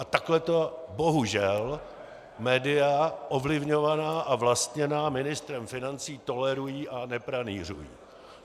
A takhle to bohužel média ovlivňovaná a vlastněná ministrem financí tolerují a nepranýřují.